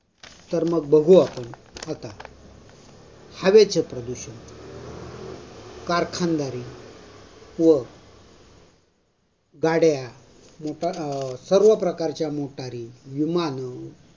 तरमग बघू आपन आता हवेचे प्रदूषण करखंदरी व गाड्या मोटा अ सर्व प्रकारच्या मोटारी, विमान